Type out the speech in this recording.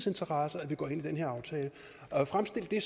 interesser at vi går ind i den her aftale og at fremstille det